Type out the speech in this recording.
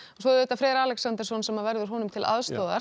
svo er Freyr Alexandersson sem verður honum til aðstoðar